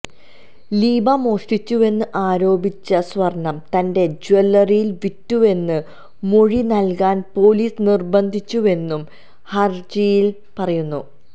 ലീബ മോഷ്ടിച്ചുവെന്ന് ആരോപിച്ച സ്വര്ണം തന്റെ ജ്വല്ലറിയില് വിറ്റുവെന്ന് മൊഴി നല്കാന് പോലീസ് നിര്ബന്ധിച്ചുവെന്നും ഹരജിയില് പറയുന്നു